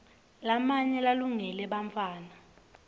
lamanye alungele bantfwana